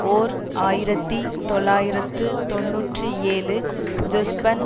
ஓர் ஆயிரத்தி தொள்ளாயிரத்து தொன்னூற்றி ஏழு ஜொஸ்பன்